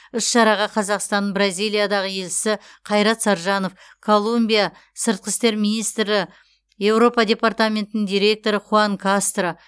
іс шараға қазақстанның бразилиядағы елшісі қайрат саржанов колумбия сыртқы істер министрі еуропа департаментінің директоры хуан кастро